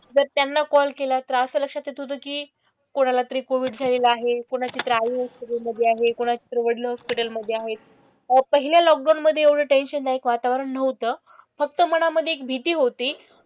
जर त्यांना कॉल केला तर असं लक्षात येत होतं की कोणालातरी कोविड झालेला आहे. कोणाची तर आई हॉस्पिटल मधे आहे. कोणाचेतरी वडील हॉस्पिटल मधे आहेत. तर आता हे लॉकडाउन मधे एवढं टेंशन दायक वातावरण नव्हतं. फक्त मनामधे एक भीती होती.